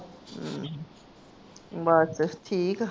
ਬਸ ਠੀਕ ਆ